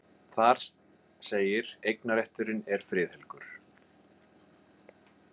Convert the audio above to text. Þar segir: Eignarrétturinn er friðhelgur.